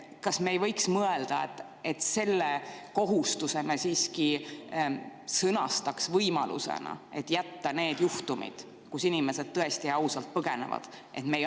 Kas me ei võiks mõelda, et selle kohustuse me siiski sõnastaks nii, et oleks võimalus jätta need juhtumid, kui inimesed tõesti ausalt põgenevad?